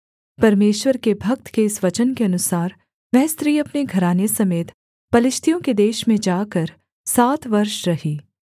परमेश्वर के भक्त के इस वचन के अनुसार वह स्त्री अपने घराने समेत पलिश्तियों के देश में जाकर सात वर्ष रही